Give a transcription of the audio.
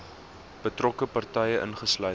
betrokke partye insluitend